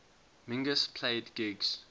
mingus played gigs